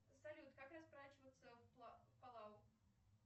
салют как расплачиваться